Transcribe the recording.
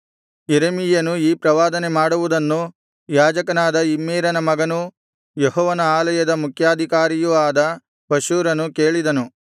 ಯೆರೆಮೀಯನು ಈ ಪ್ರವಾದನೆ ಮಾಡುವುದನ್ನು ಯಾಜಕನಾದ ಇಮ್ಮೇರನ ಮಗನೂ ಯೆಹೋವನ ಆಲಯದ ಮುಖ್ಯಾಧಿಕಾರಿಯೂ ಆದ ಪಷ್ಹೂರನು ಕೇಳಿದನು